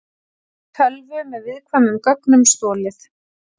Tölvu með viðkvæmum gögnum stolið